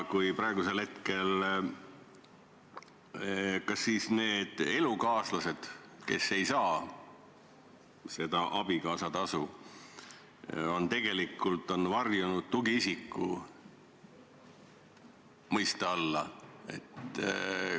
Kas praegu siis need elukaaslased, kes ei saa seda abikaasatasu, on tegelikult varjunud tugiisiku mõiste alla?